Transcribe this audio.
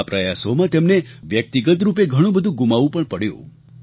આ પ્રયાસોમાં તેમને વ્યક્તિગત રૂપે ઘણું બધું ગુમાવવું પણ પડ્યું